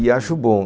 E acho bom.